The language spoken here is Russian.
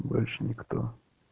больше никто